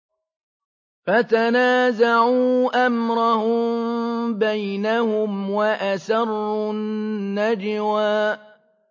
فَتَنَازَعُوا أَمْرَهُم بَيْنَهُمْ وَأَسَرُّوا النَّجْوَىٰ